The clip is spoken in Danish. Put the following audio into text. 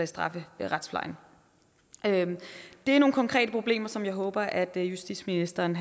strafferetsplejen det er nogle konkrete problemer som jeg håber at justitsministeren